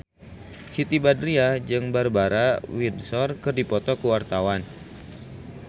Siti Badriah jeung Barbara Windsor keur dipoto ku wartawan